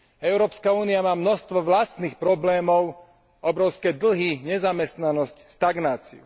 Európska únia má obrovské množstvo vlastných problémov obrovské dlhy, nezamestnanosť, stagnáciu.